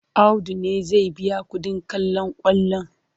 Audu ne zai biya kuɗin kallon kwallon.